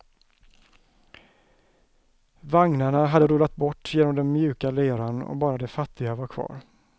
Vagnarna hade rullat bort genom den mjuka leran och bara de fattiga var kvar.